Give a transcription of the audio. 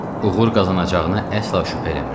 Uğur qazanacağına əsla şübhə eləmirdi.